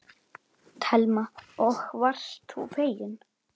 Telma: Og varst þú feginn?